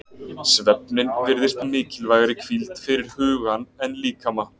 Svefninn virðist mikilvægari hvíld fyrir hugan en líkama.